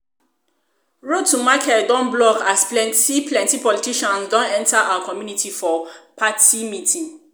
road to market don block as plenty plenty politicians don enter our community for party meeting